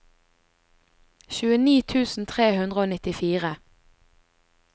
tjueni tusen tre hundre og nittifire